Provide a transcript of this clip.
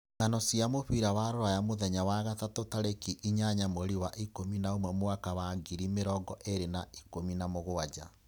Ng'ano cia mũbira wa Rũraya mũthenya wa gatatũ tarĩki inyanya mweri wa ikumi na umwe mwaka wa ngiri mĩrongo ĩĩri na ikumi na mugwanja